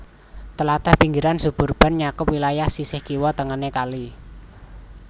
Tlatah pinggiran suburban nyakup wilayah sisih kiwa tengené kali